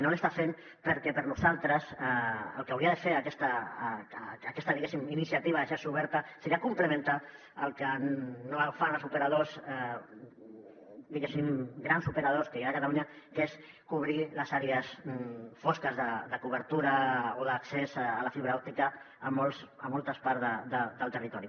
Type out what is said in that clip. no l’està fent perquè per a nosaltres el que hauria de fer aquesta iniciativa de xarxa oberta seria complementar el que no fan els operadors grans operadors que hi ha a catalunya que és cobrir les àrees fosques de cobertura o d’accés a la fibra òptica a moltes parts del territori